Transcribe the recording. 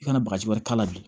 I kana bagaji wɛrɛ k'a la bi